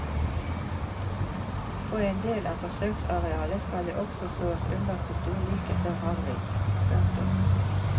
På en del av forsøksarealet skal det også sås underkultur like før harving. punktum